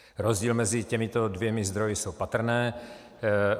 Rozdíly mezi těmito dvěma zdroji jsou patrné.